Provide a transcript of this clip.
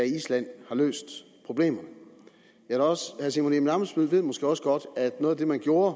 i island har løst problemerne herre simon emil ammitzbøll ved måske også godt at noget af det man gjorde